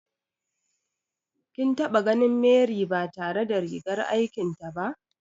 Kin taɓa ganin Mary ba tare da rigar aikin ta ba?